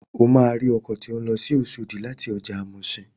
O máa rí ọkọ̀ tó ń lọ sí Oṣòdì láti ọjà muṣin.